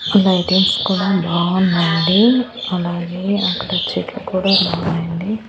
Lightings కూడా బావున్నాయండి అలాగే అక్కడ చెట్లు కూడా ఉన్నాయండి.